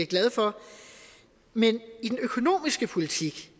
glad for men i den økonomiske politik